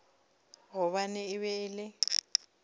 gobane e be e le